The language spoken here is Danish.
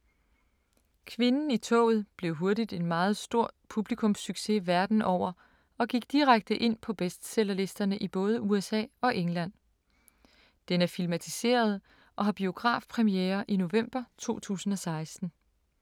Kvinden i toget blev hurtigt en meget stor publikumssucces verden over og gik direkte ind på bestsellerlisterne i både USA og England. Den er filmatiseret og har biografpremiere i november 2016.